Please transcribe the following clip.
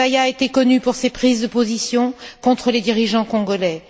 Chebeya était connu pour ses prises de position contre les dirigeants congolais.